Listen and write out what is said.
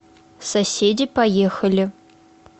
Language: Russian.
соседи поехали